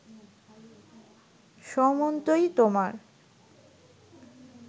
সমন্তই তোমার